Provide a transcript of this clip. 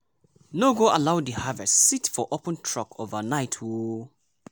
no go allow di harvest sit for open truck overnight o.